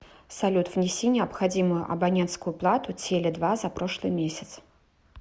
салют внеси необходимую абонентскую плату теле два за прошлый месяц